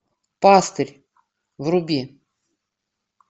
пастырь вруби